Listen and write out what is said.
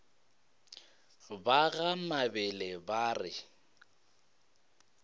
ba ga mabele ba re